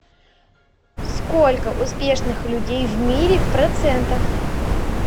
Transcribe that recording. сколько успешных людей в мире в процентах